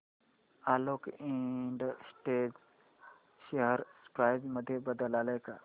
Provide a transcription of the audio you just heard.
Alok industries share price मध्ये बदल आलाय का